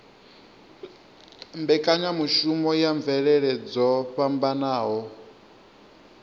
mbekanyamushumo ya mvelele dzo fhambanaho